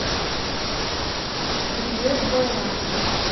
билет байрам